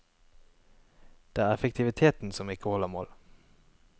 Det er effektiviteten som ikke holder mål.